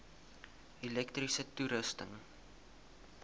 elektriese toerusting